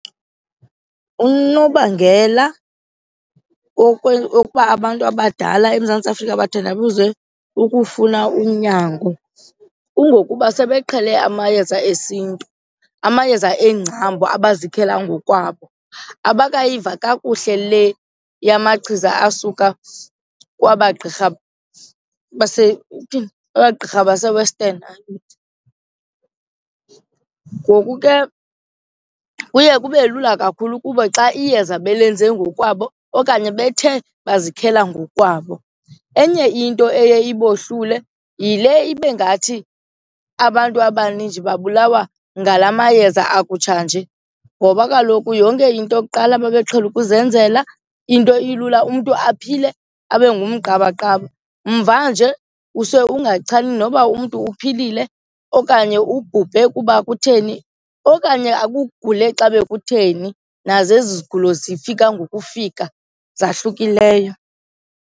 Unobangela wokuba abantu abadala eMzantsi Afrika bathandabuze ukufuna unyango kungokuba sebeqhele amayeza esiNtu, amayeza eengcambu abazikhela ngokwabo, abakayiva kakuhle le yamamachiza asuka kwaba gqirha kwaba gqirha base-western. Ngoku ke kuye kube lula kakhulu kubo xa iyeza balenze ngokwabo okanye bethe bazikhela ngokwabo. Enye into eye ibohlule yile ibe ngathi abantu abaninji babulawa ngala mayeza akutshanje ngoba kaloku yonke into yokuqala babeqhele ukuzenzela into ilula umntu aphile abe ngumqabaqaba. Mvanje kuse ungachani noba umntu uphilile okanye ubhubhe kuba kutheni okanye akugule xa bekutheni nazo ezi zigulo zifika ngokufika zahlukileyo.